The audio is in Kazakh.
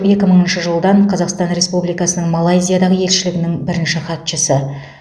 екі мыңыншы жылдан қазақстан республикасының малайзиядағы елшілігінің бірінші хатшысы